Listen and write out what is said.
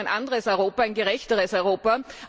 Wir brauchen ein anderes Europa, ein gerechteres Europa.